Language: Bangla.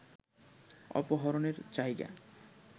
অপহরণের জায়গা